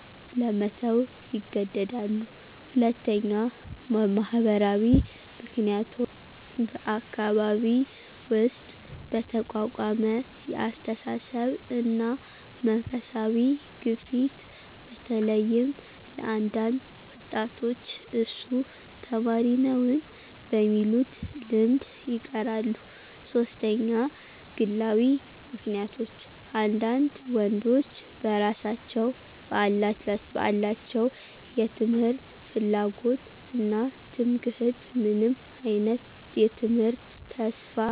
ለመተው ይገደዳሉ። 2. ማህበራዊ ምክንያቶች በአካባቢ ውስጥ በተቋቋመ የአስተሳሰብ እና መንፈሳዊ ግፊት በተለይም ለአንዳንድ ወጣቶች እሱ ተማሪ ነውን? በሚሉት ልምድ ይቀራሉ። 3. ግላዊ ምክንያቶች አንዳንድ ወንዶች በራሳቸው በአላቸው የትምህርት ፍላጎት እና ትምክህት ምንም አይነት የትምህርት ተስፋ የላቸውም።